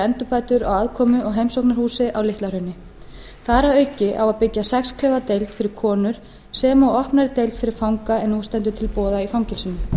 endurbætur á aðkomu og heimsóknarhúsi á litla hrauni þar að auki á að byggja sex klefa deild fyrir konur sem og opnari deild fyrir fanga en nú stendur til boða í fangelsinu